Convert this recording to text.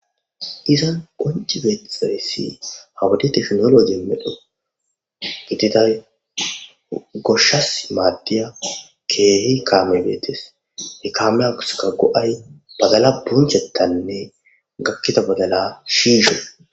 Iza qonci beetesaressi hawudi teknoloje medho gididay goshshas maaddiya keehi kaame beetes he kame aguska go7ay badala bunchetanne gakkita badala shiishe